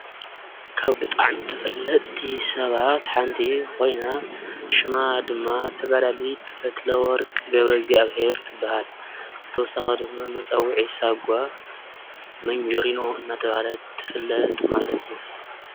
ካብ ብጣዕሚ ተፈለጥቲ ሰባት ሓንቲ ኮይና ሽማ ድማ ተጋዳሊት ፈትለወርቅ ገብረእግዚኣብሄር ትበሃል፡፡ ብተወሳኺ ድማ መፀውዒ ሳጒዓ ሞንጆሪኖ እናተባህለት ትፍለጥ ማለት እዩ፡፡